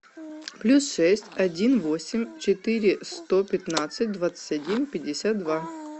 плюс шесть один восемь четыре сто пятнадцать двадцать один пятьдесят два